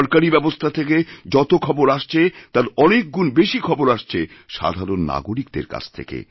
সরকারি ব্যবস্থা থেকে যতখবর আসছে তার অনেকগুণ বেশি খবর আসছে সাধারণ নাগরিকদের কাছ থেকে